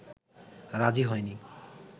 রাজি হয়নি